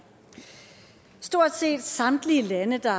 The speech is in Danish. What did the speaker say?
i stort set samtlige lande der